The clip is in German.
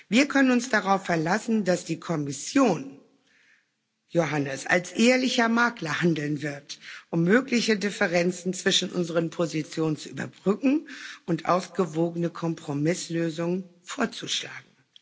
Wir können uns darauf verlassen, dass die Kommission Johannes als ehrlicher Makler handeln wird, um mögliche Differenzen zwischen unseren Positionen zu überbrücken und ausgewogene Kompromisslösungen vorzuschlagen.